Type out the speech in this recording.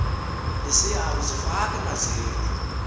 lisiya kuzifaka emanzini